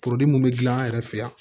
mun bɛ dilan an yɛrɛ fɛ yan